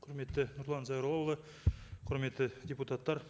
құрметті нұрлан зайроллаұлы құрметті депутаттар